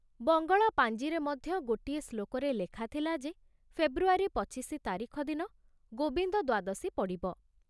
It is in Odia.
ବଙ୍ଗଳା ପାଞ୍ଜିରେ ମଧ୍ୟ ଗୋଟିଏ ଶ୍ଳୋକରେ ଲେଖାଥିଲା ଯେ ଫେବୃଆରୀ ପଚିଶି ତାରିଖ ଦିନ ଗୋବିନ୍ଦ ଦ୍ବାଦଶୀ ପଡ଼ିବ।